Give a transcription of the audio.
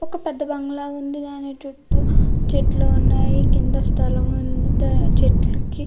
ఒక పెద్ద బంగ్లా ఉంది దాని చుట్టూ చెట్లు ఉన్నాయి కింద స్థలం ఉంది చెట్లుకి.